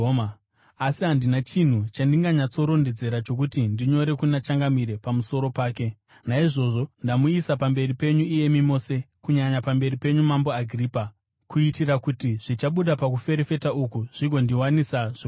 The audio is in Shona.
Asi handina chinhu chandinganyatsorondedzera chokuti ndinyorere kuna Changamire pamusoro pake. Naizvozvo ndamuuyisa pamberi penyu iyemi mose, kunyanya pamberi penyu, Mambo Agiripa, kuitira kuti zvichabuda pakuferefeta uku zvigondiwanisa zvokunyora.